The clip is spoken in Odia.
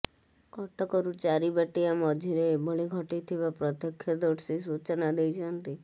କଟକରୁ ଚାରିବାଟିଆ ମଝିରେ ଏଭଳି ଘଟିଥିବା ପ୍ରତ୍ୟକ୍ଷଦର୍ଶୀ ସୂଚନା ଦେଇଛନ୍ତି